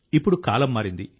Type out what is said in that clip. ఇప్పుడు కాలం మారింది